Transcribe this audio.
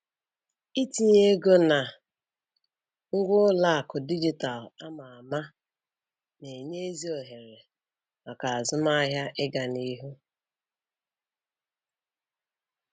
Itinye ego na ngwa ụlọakụ dijitalụ ama ama na-enye ezi ohere maka azụmahịa ịgaa n'ihu.